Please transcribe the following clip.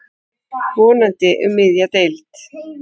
Vonandi um miðja deild.